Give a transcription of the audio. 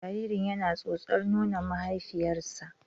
Jaririn yana tsotsar nonon mahaifiyarsa.